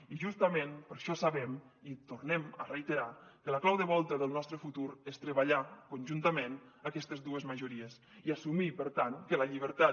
i justament per això sabem i tornem a reiterar que la clau de volta del nostre futur és treballar conjuntament aquestes dues majories i assumir per tant que la llibertat